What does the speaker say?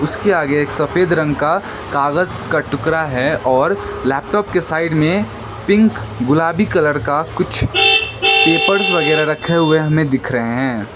उसके आगे एक सफेद रंग का कागज का टुकड़ा है और लैपटॉप के साइड में पिंक गुलाबी कलर का कुछ पेपर्स वगैरह रखे हुए हमे दिख रहे हैं।